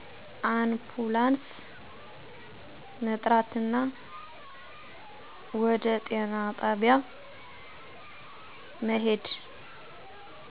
አንፑላንስ መጥራትና ወደ ጤና ጣቢያ መሄድ